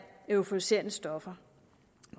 euforiserende stoffer